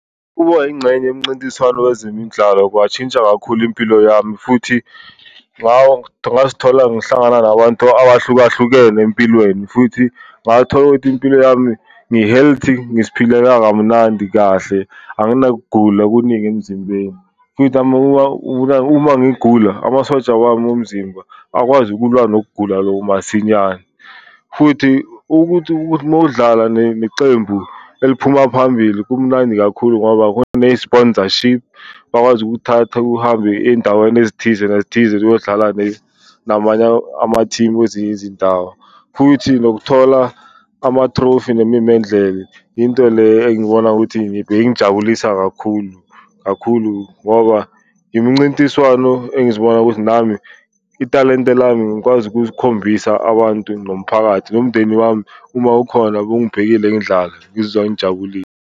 Ukuba yingxenye yemncintiswano wezemindlalo kwatshintsha kakhulu impilo yami futhi ngazithola ngihlangana nabantu abahlukahlukene empilweni, futhi ngathola ukuthi impilo yami ngi-healthy ngiziphilela kamnandi kahle, anginakugula okuningi emzimbeni. Futhi uma ngigula amasoja wami omzimba akwazi ukulwa nokugula loku masinyane. Futhi ukuthi mawudlala necembu eliphuma phambili kumnandi kakhulu ngoba khona ne-sponsorship bakwazi ukukuthatha uhambe ey'ndaweni ezithize nethize ziyodlala namanye amathimu wezinye izindawo. Futhi nothola ama-trophy nemimendlela. Yinto le engibona ukuthi beyingijabulisa kakhulu kakhulu ngoba imncintiswano engizibona ukuthi nami italente lami ngikwazi ukuzikhombisa abantu nomphakathi. Nomndeni wami uma ukhona bewungibhekile ngidlala, ngizizwa ngijabulile.